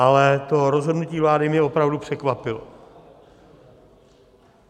Ale to rozhodnutí vlády mě opravdu překvapilo.